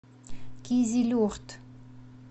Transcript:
кизилюрт